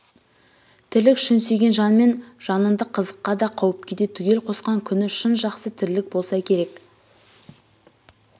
тірлік шын сүйген жанмен жанынды қызыққа да қауіпке де түгел қосқан күні шын жақсы тірлік болса кереқ